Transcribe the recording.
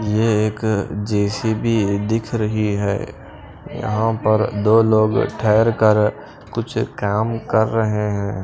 ये एक जे_सी_बी दिख रही है यहां पर दो लोग ठहरकर कुछ काम कर रहे हैं।